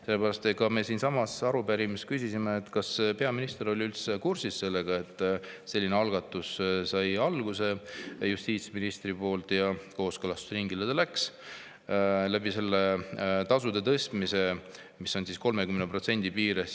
Sellepärast me siinsamas arupärimises küsisimegi, kas peaminister oli üldse kursis, et justiitsminister sellise algatuse tegi ja kooskõlastusringile läks eelnõu, mille kohaselt notarite tasu tõuseb 30%.